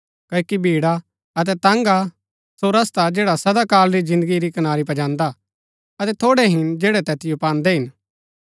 क्ओकि भिड़ा अतै तंग हा सो रस्ता जैडा सदा काल री जिन्दगी री कनारी पजान्दा अतै थोड़ै हिन जैड़ै तैतिओ पान्दै हिन